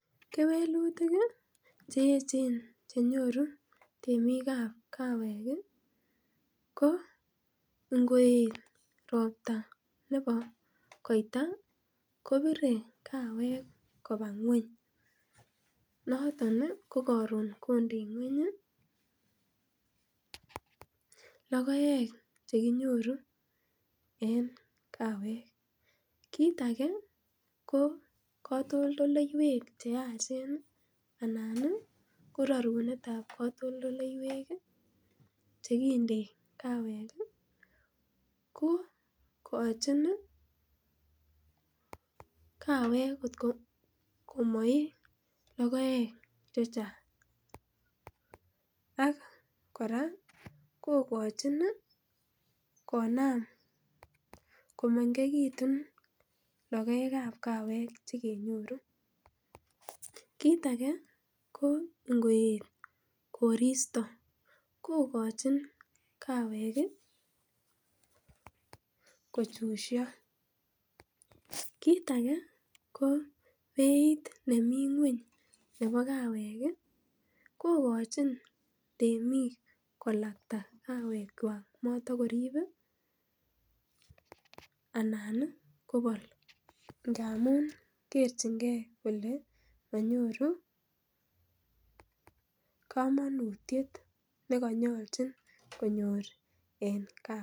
Kewelutik kewelutik ih cheechen chenyoru temik kab kawek ih, ko ingoet robta nebo koitar kobire kawek kobar. Noton ko karon kondei ngueny ih, lokoek cheki nyoru en kawek, kit age ko katoltolleywek cheyachen anan ih rarunetab katoltolleywek ih chekindei kawek ih, ko kochin komai kawek lokoek chechang. Ak kora kong'achin ih konam komengekitun lokoek kab kawek chekenyoru kit age ko ingoet korista kogochin kawek ih kochusio kit age ko beit ne mi ng'uany nebo kawek ih kong'achin temik kolakta kawekwal anan kobal ngamun kerchinge kamatik neka nyalchin konyor en ka.